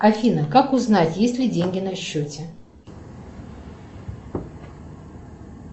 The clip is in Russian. афина как узнать есть ли деньги на счете